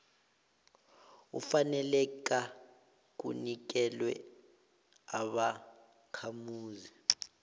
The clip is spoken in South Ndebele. ufaneleka kunikelwa ubakhamuzi